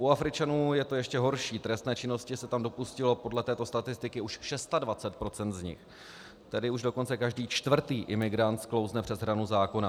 U Afričanů je to ještě horší, trestné činnosti se tam dopustilo podle této statistiky už 26 % z nich, tedy už dokonce každý čtvrtý imigrant sklouzne přes hranu zákona.